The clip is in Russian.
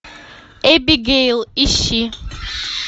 эбигейл ищи